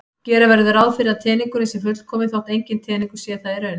Gera verður ráð fyrir að teningurinn sé fullkominn þótt enginn teningur sé það í raun.